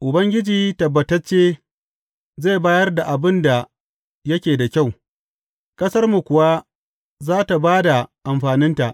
Ubangiji tabbatacce zai bayar da abin da yake da kyau, ƙasarmu kuwa za tă ba da amfaninta.